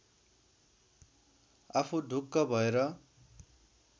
आफू ढुक्क भएर